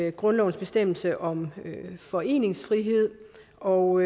i grundlovens bestemmelse om foreningsfrihed og